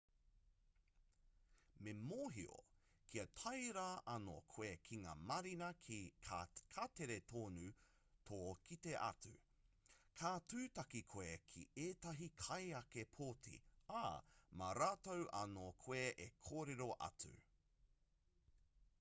me mōhio kia tae rā anō koe ki ngā marina ka tere tonu tō kite atu ka tūtaki koe ki ētahi kaieke poti ā mā rātou anō koe e kōrero atu